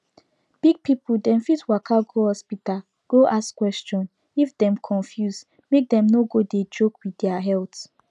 big people dem fit waka go hospital go ask question if dem confuse make dem no go dey joke with their health